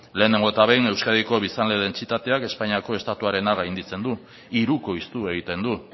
lehenengo eta behin euskadiko biztanle dentsitateak espainiako estatuarena gainditzen du hirukoiztu egiten du